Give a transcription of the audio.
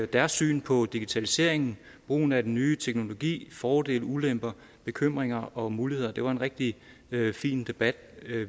deres syn på digitaliseringen brugen af den nye teknologi fordele og ulemper bekymringer og muligheder og det var en rigtig fin debat